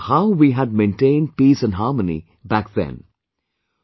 And I have referred to how we had maintained peace and harmony back then